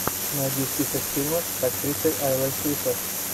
найди список фильмов с актрисой айлой фишер